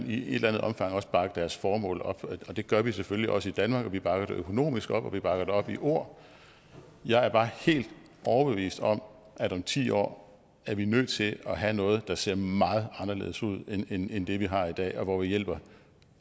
i et eller andet omfang også bakke deres formål op og det gør vi selvfølgelig også i danmark vi bakker det økonomisk op og vi bakker det op i ord jeg er bare helt overbevist om at om ti år er vi nødt til at have noget der ser meget anderledes ud end end det vi har i dag og hvor vi hjælper